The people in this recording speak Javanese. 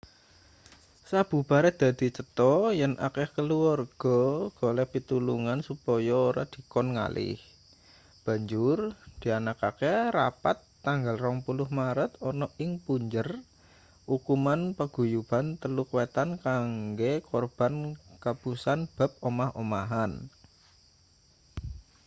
sabubare dadi cetho yen akeh kaluwarga golek pitulungan supaya ora dikon ngalih banjur dianakke rapat tanggal 20 maret ana ing punjer ukuman paguyuban teluk wetan kanggo korban kapusan bab omah-omahan